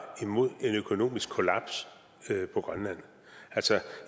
imod en økonomisk kollaps på grønland altså